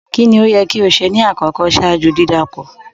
Kíni o yẹ ki o ṣe ní akọkọ̀ ṣaaju di dákọ̀?